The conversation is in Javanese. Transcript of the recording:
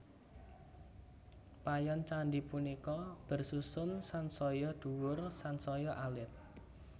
Payon candhi punika bersusun sansaya dhuwur sansaya alit